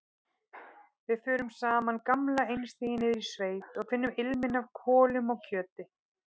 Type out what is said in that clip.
Við förum sama gamla einstigið niður í sveit og finnum ilminn af kolum og kjöti.